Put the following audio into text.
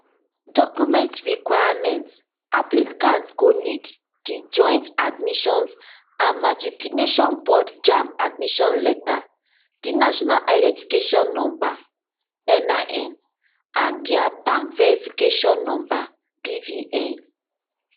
documents requirement applicants go need di joint admissions and matriculation board jamb admission letter di national identification number nin and dia bank verification number bvn